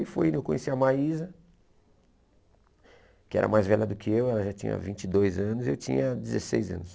Aí foi, eu conheci a Maísa, que era mais velha do que eu, ela já tinha vinte e dois anos, eu tinha dezesseis anos.